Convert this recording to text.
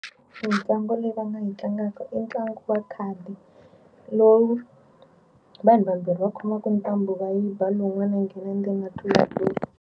Mitlangu leyi va nga yi tlangaka i ntlangu wa khadi lowu vanhu vambirhi va khomaka ntambu va yi ba lowun'wana nghena ndzeni ma tlulatlula.